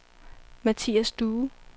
Mathias Due